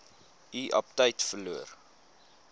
u aptyt verloor